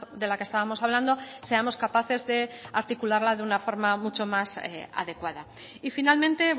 de la que estábamos hablando seamos capaces de articularla de una forma mucho más adecuada y finalmente